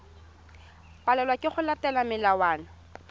palelwa ke go latela melawana